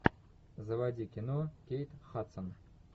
заводи кино кейт хадсон